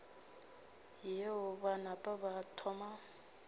yeo ba napa ba thoma